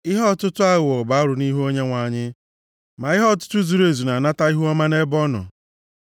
Ihe ọtụtụ aghụghọ + 11:1 \+xt Lev 19:35-36; Dit 25:13-16; Mai 6:11\+xt* bụ arụ nʼihu Onyenwe anyị ma ihe ọtụtụ zuru ezu na-anata ihuọma nʼebe ọ nọ.